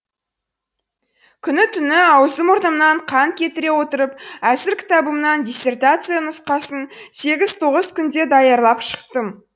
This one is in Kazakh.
күні түні аузы мұрнымнан қан кетіре отырып әзір қітабымнан диссертация нұсқасын сегіз тоғыз күнде даярлап шықтым